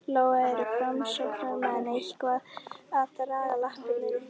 Lóa: Eru framsóknarmenn eitthvað að draga lappirnar í þessu máli?